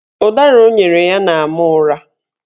Ụdara o nyere ya na-ama ụra